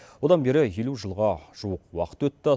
одан бері елу жылға жуық уақыт өтті